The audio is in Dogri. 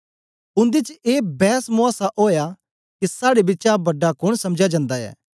उन्दे च ए बैसमूयासा ओया के साड़े बिचा बड़ा कोन समझया जंदा ऐ